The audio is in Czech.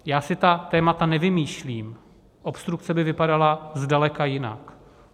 Já si ta témata nevymýšlím, obstrukce by vypadaly zdaleka jinak.